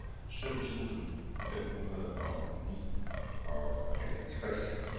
sytten tusind fem hundrede og nioghalvtreds